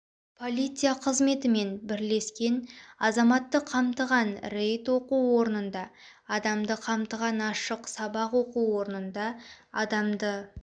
полиция қызметімен бірлескен азаматты қамтыған рейд оқу орнында адамды қамтыған ашық сабақ оқу орнында адамды